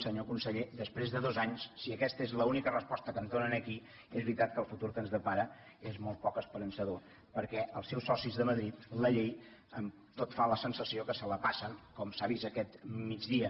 senyor conseller després de dos anys si aquesta és l’única resposta que ens dóna aquí és veritat que el futur que ens depara és molt poc esperançador perquè els seus socis de madrid la llei tot fa la sensació que se la passen com s’ha vist aquest migdia